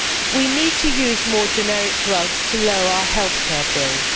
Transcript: We need to use more generic drugs to lower our healthcare bills.